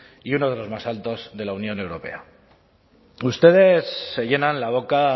y uno de los más altos de la unión europea ustedes se llenan la boca